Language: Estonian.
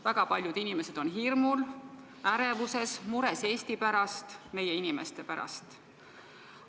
Väga paljud inimesed on hirmul, ärevuses, mures Eesti pärast, meie inimeste pärast.